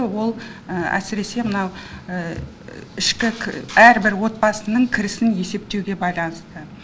ол әсіресе мынау ішкі әрбір отбасының кірісін есептеуге байланысты